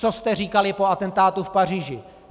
Co jste říkali po atentátu v Paříži?